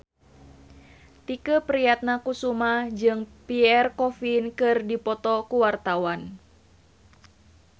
Tike Priatnakusuma jeung Pierre Coffin keur dipoto ku wartawan